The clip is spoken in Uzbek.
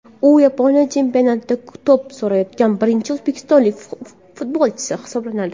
U Yaponiya chempionatida to‘p surayotgan birinchi o‘zbekistonlik futbolchi hisoblanadi.